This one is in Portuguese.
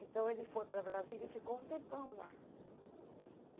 Então, ele foi para Brasília e ficou um tempão lá.